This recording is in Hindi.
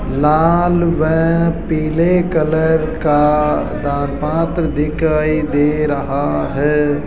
लाल व पीले कलर का दान पात्र दिखाई दे रहा है।